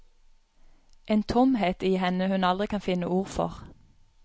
En tomhet i henne hun aldri kan finne ord for.